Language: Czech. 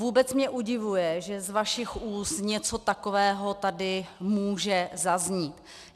Vůbec mě udivuje, že z vašich úst něco takového tady může zaznít.